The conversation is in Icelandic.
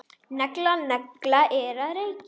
Negla nagla er að reykja.